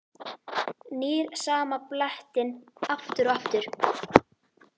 Nýr sama blettinn aftur og aftur.